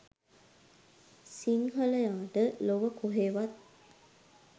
සිංහලයාට ලොව කොහේවත්